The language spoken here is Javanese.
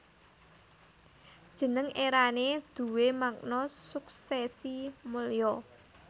Jeneng Erané duwé makna Suksèsi Mulya